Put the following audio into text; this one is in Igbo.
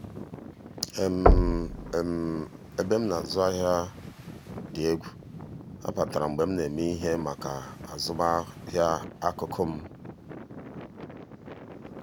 ebe m na-arụ ọrụ dị egwu—ha batara mgbe m na-eme ihe maka azụmahịa akụkụ m.